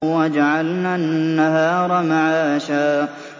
وَجَعَلْنَا النَّهَارَ مَعَاشًا